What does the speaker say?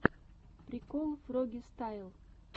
прикол фрогистайл